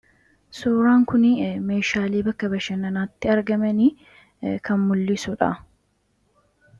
Suuraan kuni meeshaalee bakka bashanannaatti argamani kan mul'isudha.